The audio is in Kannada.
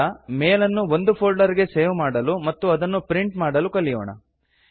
ಈಗ ಮೇಲ್ ಅನ್ನು ಒಂದು ಫೋಲ್ಡರ್ ಗೆ ಸೇವ್ ಮಾಡಲು ಮತ್ತು ಅದನ್ನು ಪ್ರಿಂಟ್ ಮಾಡಲು ಕಲಿಯೋಣ